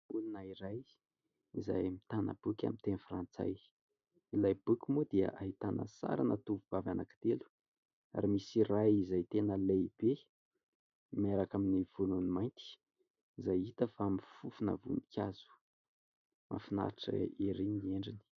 0lona iray izay mitana boky amin'ny teny frantsay. Ilay boky moa dia ahitana sarina tovovavy anankitelo ary misy iray izay tena lehibe miaraka amin'ny volony mainty izay hita fa mifofona voninkazo. Mahafinaritra ery ny endriny.